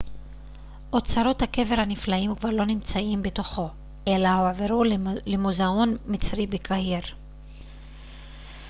אוצרות הקבר הנפלאים כבר לא נמצאים בתוכו אלא הועברו למוזאון מצרי בקהיר